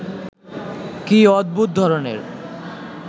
কি অদ্ভুত ধরনের